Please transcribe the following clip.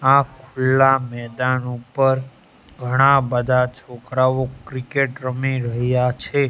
આ ખુલ્લા મેદાન ઉપર ઘણા બધા છોકરાઓ ક્રિકેટ રમી રહ્યા છે.